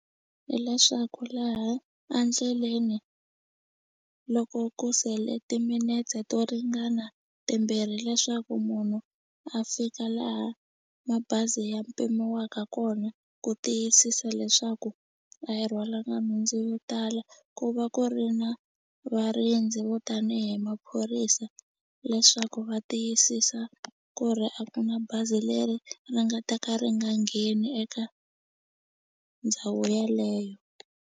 Hi leswaku laha a ndleleni loko ku sele timinetse to ringana timbirhi leswaku munhu a fika laha mabazi ya pimiwaka kona ku tiyisisa leswaku a hi rhwala nhundzu yo tala ku va ku ri na varindzi vo tanihi maphorisa leswaku va tiyisisa ku ri a ku na bazi leri ri nga ta ka ri nga ngheni eka ndhawu yeleyo.